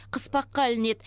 қыспаққа ілінеді